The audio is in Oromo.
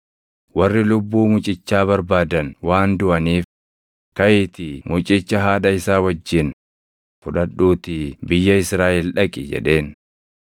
“Warri lubbuu mucichaa barbaadan waan duʼaniif kaʼiitii mucicha haadha isaa wajjin fudhadhuutii biyya Israaʼel dhaqi” jedheen.